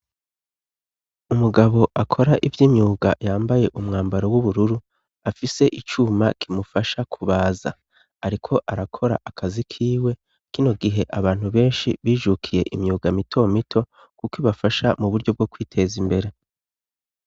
Umugabo akora ivy'imyuga yambaye umwambaro w'ubururu. Afise icuma kimufasha kubaza, ariko arakora akazi kiwe. Kino gihe abantu benshi bijukiye imyuga mito mito kuko ibafasha mu buryo bwo kwiteza imbere.